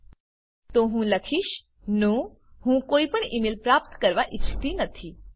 000559 000505 તો હું લખીશ નો હું કોઈપણ ઇ મેઇલ પ્રાપ્ત કરવા ઈચ્છતી નથી